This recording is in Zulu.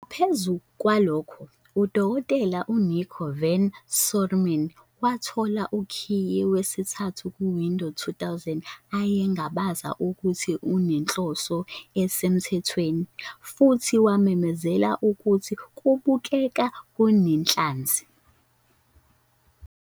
Ngaphezu kwalokho, uDkt Nicko van Someren wathola ukhiye wesithathu ku-Windows 2000, ayengabaza ukuthi unenhloso esemthethweni, futhi wamemezela ukuthi "Kubukeka kunenhlanzi".